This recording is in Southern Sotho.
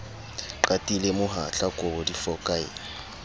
qatile mohatla kobo di fokaela